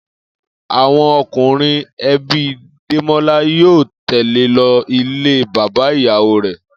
Àwo̩n o̩kùnrin e̩bi Démólá yóò tè̩le lo̩ ilé bàbá ìyàwó rè̩